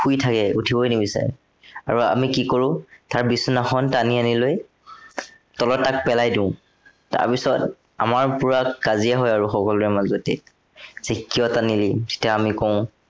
শুই থাকে। উঠিবই নিবিচাৰে। আৰু আমি কি কৰো, তাৰ বিচনাখন টানি আনি লৈ, তলত তাক পেলাই দিও। তাৰপিছত আমাৰ পোৰা কাজিয়া হয় আৰু সকলোৰে মাজতে যে কিয়া টানিলি, তেতিয়া আমি কওঁ